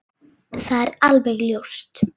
Það er alveg ljóst.